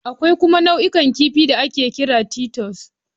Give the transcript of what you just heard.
Akwai kuma nau'in kifi da ake kira Titus